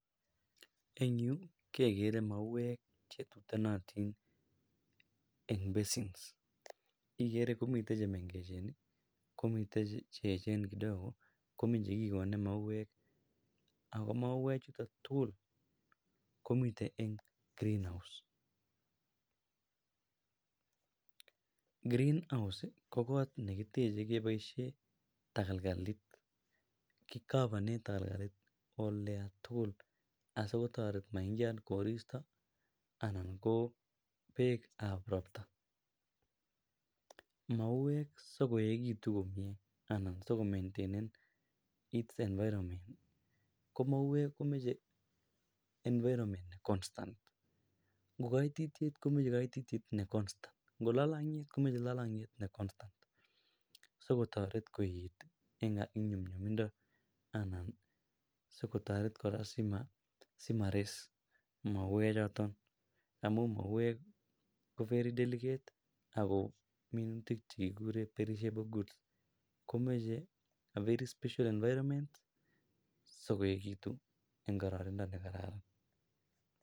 Eng' Yu kegere mauek che tutanatin en basin igere komi chemengechen komiten cheechen kidogo komi chikikonde mauek Ako mauek chuton tugul komiten en green house, green house ko got nekitechei keboishen tegelgel, kicovone tegelgelit olotugul asigotoret maingian koristo anan ko peek ap ropta, mauek sikoechikitu komie, anan sikomaintainen it's environment, ko mauek komachei environment ne constant, ngo koititiet komochei koititiet ne constant, ngo lolong'iet komochei lolong'iet ne constant sikotorer koet eng nyumnyumindo anan sikotoret kora sima res mauechoto amu mauek ko very delicate ako minutik chekikure perishable goods, komochei Avery special environment sikoechikitu eng kararanindo ne gararan.